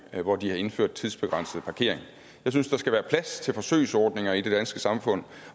hvor de har indført tidsbegrænset parkering jeg synes der skal være plads til forsøgsordninger i det danske samfund